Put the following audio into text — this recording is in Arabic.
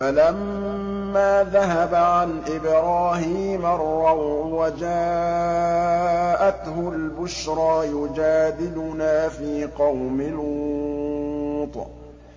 فَلَمَّا ذَهَبَ عَنْ إِبْرَاهِيمَ الرَّوْعُ وَجَاءَتْهُ الْبُشْرَىٰ يُجَادِلُنَا فِي قَوْمِ لُوطٍ